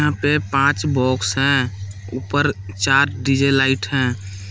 यह पांच बॉक्स हैं ऊपर चार डी_जे लाइट हैं।